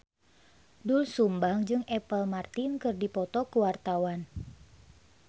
Doel Sumbang jeung Apple Martin keur dipoto ku wartawan